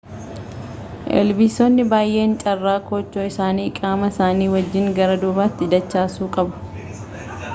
ilbiisonni baay'een carraa koochoo isaanii qaama isaanii wajjiin gara duubaatti dachaasuu qabu